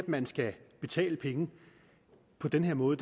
man skal betale penge på den her måde